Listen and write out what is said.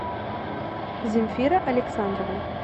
земфира александровна